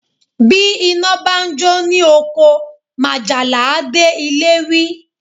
Bí iná bá jó ní oko, majala a dé ilé wí